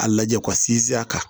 A lajɛ ko ka sinsin a kan